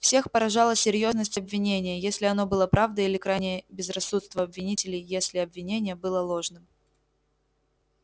всех поражала серьёзность обвинения если оно было правдой или крайнее безрассудство обвинителей если обвинение было ложным